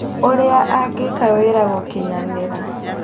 ũrĩa angĩka wĩra gũkinyanira